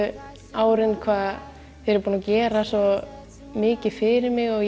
árin hvað þau eru búin að gera mikið fyrir mig og